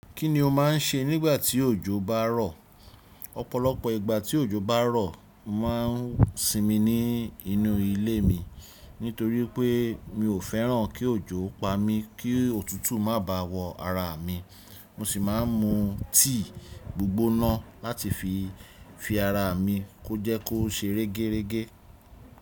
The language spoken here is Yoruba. Kí ni o máà ń ṣe nígbà tí òjò bá rọ̀? Ọ̀pọ̀lọpọ̀ ìgbà tí òjò bá rọ̀, mo mà n sínmi ní inú ilé mi. Nítorí pé mi ò fẹ́ràn kí òjò pa mí kó ọ̀tútù má ba à wọ̀ ara mi. Mo si maa n mu tea gbigbona lati fi--fi ara mi ko je ko se regerege.